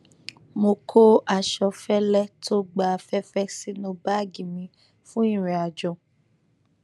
mo kó aṣọ fẹlẹ tó gba afẹfẹ sínú báàgì mi fún ìrìnàjò